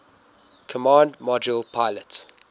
command module pilot